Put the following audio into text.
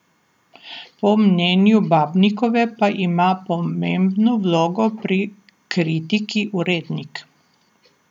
Po mnenju Babnikove pa ima pomembno vlogo pri kritiki urednik.